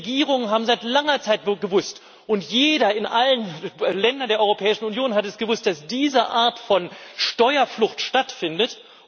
Die Regierungen haben seit langer Zeit gewusst und jeder in allen Ländern der Europäischen Union hat es gewusst dass diese Art von Steuerflucht stattfindet.